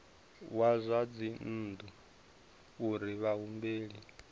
wa zwa dzinnu uri vhahumbeli